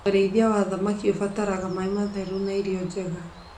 Ũrĩithia wa thamaki ũbataraga maĩ matheru na irio njega.